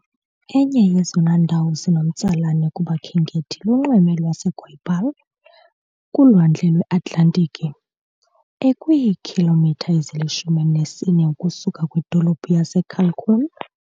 Enye yezona ndawo zinomtsalane kubakhenkethi lunxweme lwaseGoiabal kulwandle lweAtlantiki, ekwiikhilomitha ezili-14 ukusuka kwidolophu yaseCalçoene.